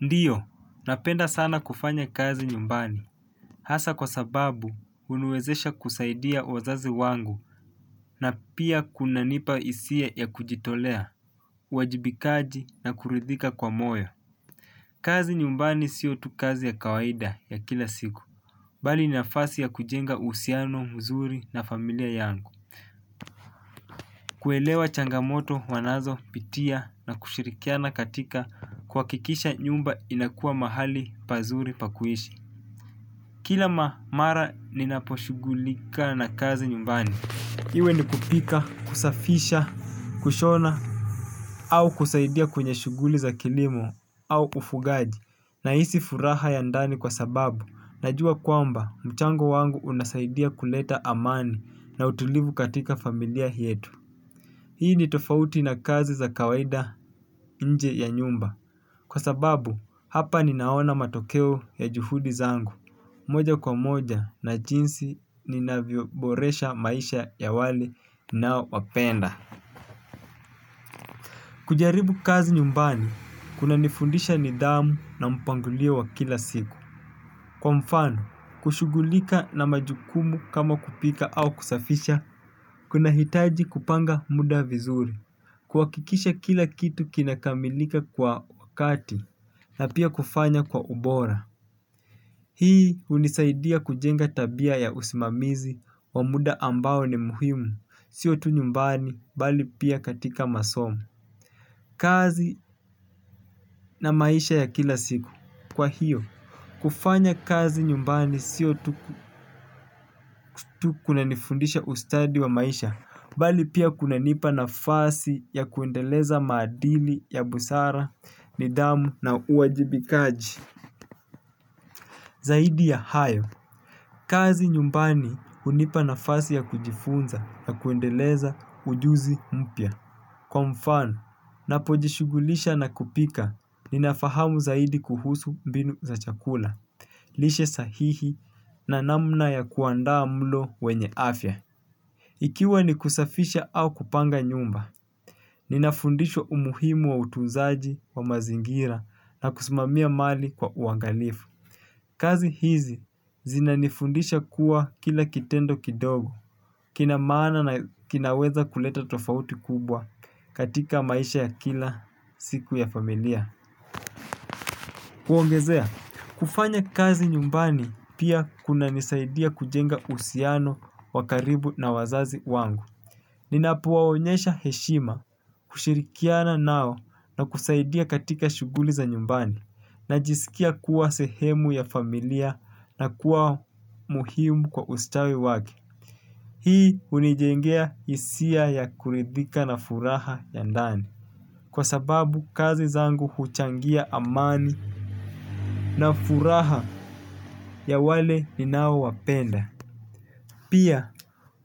Ndiyo, napenda sana kufanya kazi nyumbani. Hasa kwa sababu, huniweezesha kusaidia wazazi wangu na pia kunanipa hisia ya kujitolea, uwajibikaji na kuridhika kwa moyo. Kazi nyumbani sio tu kazi ya kawaida ya kila siku. Bali ninafasi ya kujenga uhusiano, mzuri na familia yangu. Kuelewa changamoto wanazo pitia na kushirikiana katika kuhakikisha nyumba inakua mahali pazuri pakuishi. Kila mamara ninaposhugulika na kazi nyumbani iwe ni kupika, kusafisha, kushona au kusaidia kwenye shuguli za kilimo au ufugaji na hisi furaha ya ndani kwa sababu najua kwamba mchango wangu unasaidia kuleta amani na utulivu katika familia yetu. Hii ni tofauti na kazi za kawaida nje ya nyumba. Kwa sababu hapa ninaona matokeo ya juhudi zangu moja kwa moja na jinsi ninavyo boresha maisha ya wale ninaowapenda. Kujaribu kazi nyumbani kuna nifundisha nidhamu na mpangilio wa kila siku. Kwa mfano kushugulika na majukumu kama kupika au kusafisha. Kunahitaji kupanga mda vizuri kuhakikisha kila kitu kina kamilika kwa wakati na pia kufanya kwa ubora. Hii hunisaidia kujenga tabia ya usimamizi wa muda ambao ni muhimu, sio tu nyumbani bali pia katika masomo. Kazi na maisha ya kila siku. Kwa hiyo, kufanya kazi nyumbani sio tu kuna nifundisha ustadi wa maisha, bali pia kuna nipa na fasi ya kuendeleza maadili ya busara, nidhamu na uwajibikaji. Zaidi ya hayo, kazi nyumbani hunipa nafasi ya kujifunza na kuendeleza ujuzi mpya. Kwa mfano, napojishugulisha na kupika, ninafahamu zaidi kuhusu mbinu za chakula. Lishe sahihi na namna ya kuandaa mlo wenye afya. Ikiwa ni kusafisha au kupanga nyumba, ninafundisho umuhimu wa utunzaji wa mazingira na kusimamia mali kwa uangalifu. Kazi hizi zinanifundisha kuwa kila kitendo kidogo, kina maana na kinaweza kuleta tofauti kubwa katika maisha ya kila siku ya familia. Kuongezea, kufanya kazi nyumbani pia kuna nisaidia kujenga uhusiano wa karibu na wazazi wangu. Ninapowaonyesha heshima kushirikiana nao na kusaidia katika shughuli za nyumbani najisikia kuwa sehemu ya familia na kuwa muhimu kwa ustawi wake. Hii hunijengea hisia ya kuridhika na furaha ya ndani. Kwa sababu kazi zangu huchangia amani na furaha ya wale ni nao wapenda. Pia,